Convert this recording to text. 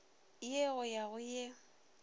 ye go ya go ye